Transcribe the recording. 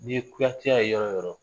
N'i ye kuyateya ye yɔrɔ yɔrɔ.